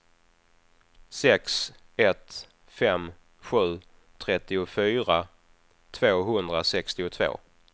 sex ett fem sju trettiofyra tvåhundrasextiotvå